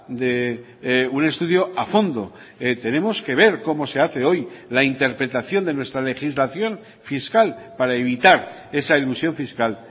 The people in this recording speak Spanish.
de un estudio a fondo tenemos que ver cómo se hace hoy la interpretación de nuestra legislación fiscal para evitar esa elusión fiscal